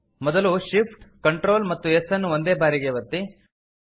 ಮೊದಲು Shift Ctrl ಮತ್ತು S ಅನ್ನು ಒಂದೇ ಬಾರಿಗೆ ಒತ್ತಿ